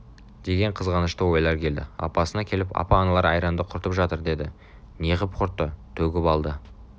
деген қызғанышты ойлар келді апасына келіп апа аналар айранды құртып жатыр деді неғып құртты төгіп алды